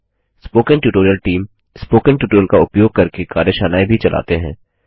spoken tutorial team spoken tutorial का उपयोग करके कार्यशालाएँ भी चलाते हैं